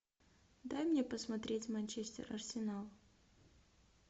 дай мне посмотреть манчестер арсенал